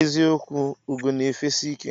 eziokwu ugo na efesi ike.